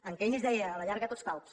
en keynes deia a la llarga tots calbs